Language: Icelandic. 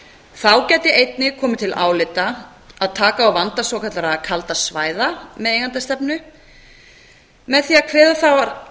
þá gæti einnig komið til álita að taka á vanda svokallaðra kaldra svæða með eigendastefnu með því að kveða þá